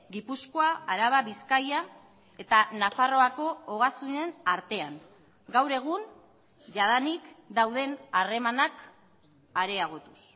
gipuzkoa araba bizkaia eta nafarroako ogasunen artean gaur egun jadanik dauden harremanak areagotuz